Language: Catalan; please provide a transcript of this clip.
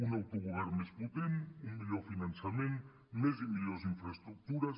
un autogovern més potent un millor finançament més i millors infraestructures